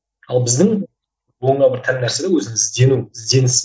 ал біздің буынға бір тән нәрсе де өзі іздену ізденіс